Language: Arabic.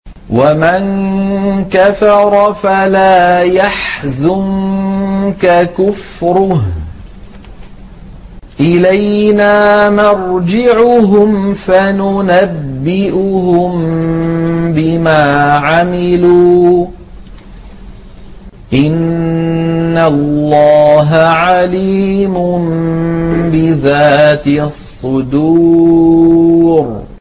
وَمَن كَفَرَ فَلَا يَحْزُنكَ كُفْرُهُ ۚ إِلَيْنَا مَرْجِعُهُمْ فَنُنَبِّئُهُم بِمَا عَمِلُوا ۚ إِنَّ اللَّهَ عَلِيمٌ بِذَاتِ الصُّدُورِ